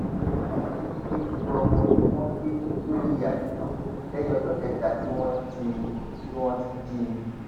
àwọn ajínigbé ju ọmọ tí wọn gbé sórí àkìtàn lẹyìn ọjọ kẹta tí wọn ti wọn ti jí i